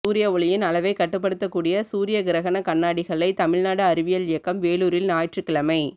சூரிய ஒளியின் அளவை கட்டுப்படுத்தக் கூடிய சூரிய கிரகண கண்ணாடிகளை தமிழ்நாடு அறிவியல் இயக்கம் வேலூரில் ஞாயிற்றுக்கிழமை